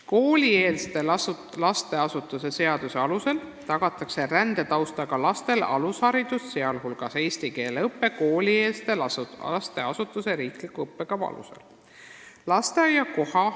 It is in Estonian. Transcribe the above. " Koolieelse lasteasutuse seaduse alusel tagatakse rändetaustaga lastele alusharidus, sh eesti keele õpe, koolieelse lasteasutuse riikliku õppekava alusel.